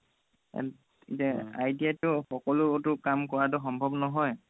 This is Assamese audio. ITI তটো সকলোতো কাম কৰা সম্ভৱ নহয়